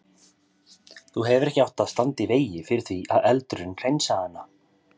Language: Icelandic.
Þú hefðir ekki átt að standa í vegi fyrir því að eldurinn hreinsaði hana.